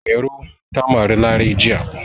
Mairo ta mari Larai jiya.